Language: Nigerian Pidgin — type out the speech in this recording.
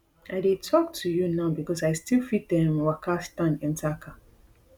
i dey tok to you now becos i still fit um waka stand enta car